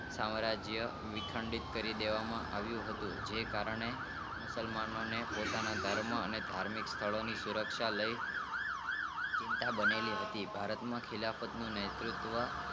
સામાન્ય વિખંડિત કરી દેવામાં આવીયુ હતું જે કારણે મુસલમાનો ને ધર્મ અને ધાર્મિક સ્થળોની સુરક્ષા લઇ ચિંતા બની ગઈ હતી ભારત માં ખીલ માટે નો નેતુત્વ